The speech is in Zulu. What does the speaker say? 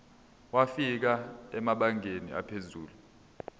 wafika emabangeni aphezulu